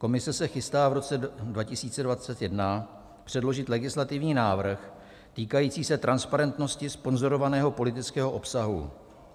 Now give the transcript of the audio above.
Komise se chystá v roce 2021 předložit legislativní návrh týkající se transparentnosti sponzorovaného politického obsahu.